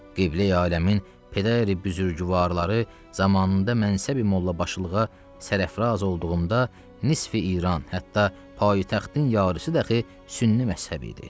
Qibləyi aləmin pədari büzürgüvarları zamanında mənsəbi mollabaşılığa sərafraz olduğunda nisf-i İran, hətta paytaxtın yarısı dəxi sünni məzhəbi idi.